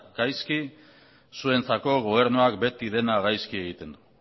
gaizki zuentzako gobernua beti dena gaizki egiten du